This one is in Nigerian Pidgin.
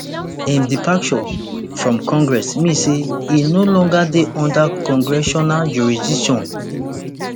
im departure from congress mean say e no longer dey under congressional jurisdiction